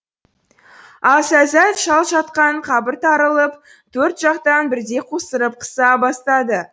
ал сәззәт шал жатқан қабіртарылып төрт жақтан бірдей қусырып қыса бастады